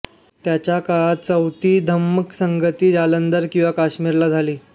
त्याच्या काळात चौथी धम्म संगीती जालंधर किंवा काश्मीरला झाली